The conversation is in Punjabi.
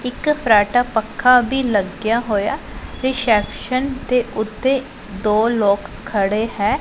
ਇੱਕ ਫਰਾਟਾ ਪੱਖਾ ਵੀ ਲੱਗਿਆ ਹੋਇਆ ਰਿਸੈਪਸ਼ਨ ਦੇ ਉੱਤੇ ਦੋ ਲੋਕ ਖੜੇ ਹੈ।